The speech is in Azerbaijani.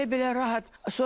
Elə-belə rahat.